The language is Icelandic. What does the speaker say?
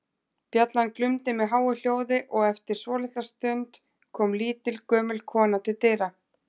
Bjallan glumdi með háu hljóði og eftir svolitla stund kom lítil, gömul kona til dyra.